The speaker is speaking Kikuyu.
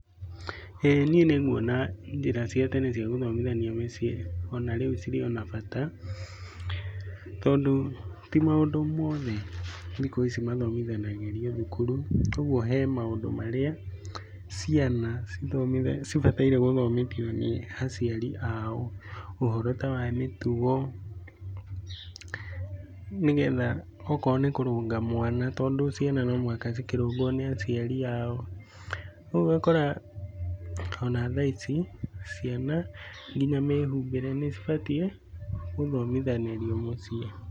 ĩĩ niĩ nĩ nguona njĩra cia tene cia gũthomithanĩria mũciĩ ona rĩu cirĩ ona bata. Tondũ ti maũndũ mothe thikũ ici mathomithanagĩrio thukuru. Ũguo he maũndũ marĩa ciana cibataire gũthomithio nĩ aciari ao. Ũhoro ta wa mĩtugo nĩ getha okorwo nĩ kũrũnga mwana tondũ ciana no mũhaka cikĩrũngwo nĩ aciari ao. Ũguo ũgakora ona thaa ici ciana nginya mĩhumbĩre nĩ ibatiĩ gũthomithanĩrio mũciĩ.